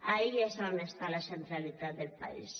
ahí és on està la centralitat del país